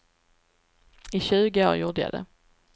I tjugo år gjorde jag det.